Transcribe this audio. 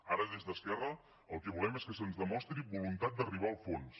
ara des d’esquerra el que volem és que se’ns demostri voluntat d’arribar al fons